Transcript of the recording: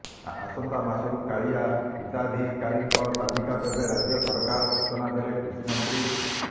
ଆସନ୍ତା ମାସରୁ କାଳିଆ ହିତାଧିକାରୀଙ୍କ ତାଲିକା ଦେବେ ରାଜ୍ୟ ସରକାର ସୂଚନା ଦେଲେ କୃଷିମନ୍ତ୍ରୀ